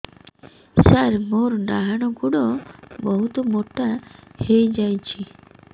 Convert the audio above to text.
ସାର ମୋର ଡାହାଣ ଗୋଡୋ ବହୁତ ମୋଟା ହେଇଯାଇଛି